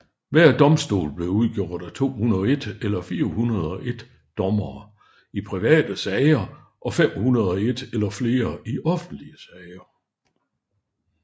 Hver domstol blev udgjort af 201 eller 401 dommere i private sager og 501 eller flere i offentlige sager